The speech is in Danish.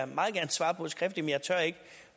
meget gerne svare på skriftligt